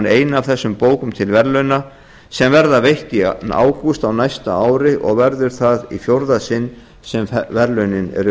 eina af þessum bókum til verðlauna sem verða veitt í ágúst á næsta ári og verður það fjórða sinn sem verðlaunin eru